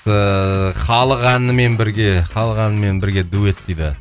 ыыы халық әнімен бірге халық әнімен бірге дуэт дейді